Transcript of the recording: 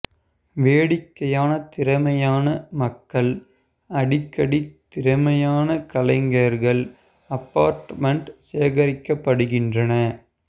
வேடிக்கையான திறமையான மக்கள் அடிக்கடி திறமையான கலைஞர்கள் அபார்ட்மெண்ட் சேகரிக்கப்படுகின்றன